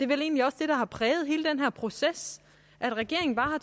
vel egentlig også det der har præget hele den her proces altså at regeringen bare